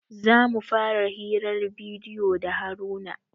Za mu fara hirar bidiyo da haruna